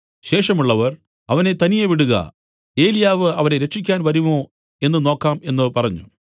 ശേഷമുള്ളവർ അവനെ തനിയെ വിടുക ഏലിയാവ് അവനെ രക്ഷിക്കാൻ വരുമോ എന്നു നോക്കാം എന്നു പറഞ്ഞു